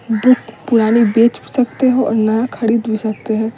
Book पुरानी बेच भी सकते हो और नया खरीद भी सकते हैं।